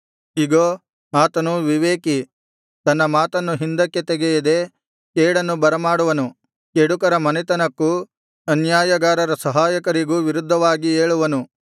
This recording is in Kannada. ಇಗೋ ಆತನು ವಿವೇಕಿ ತನ್ನ ಮಾತನ್ನು ಹಿಂದಕ್ಕೆ ತೆಗೆಯದೆ ಕೇಡನ್ನು ಬರಮಾಡುವನು ಕೆಡುಕರ ಮನೆತನಕ್ಕೂ ಅನ್ಯಾಯಗಾರರ ಸಹಾಯಕರಿಗೂ ವಿರುದ್ಧವಾಗಿ ಏಳುವನು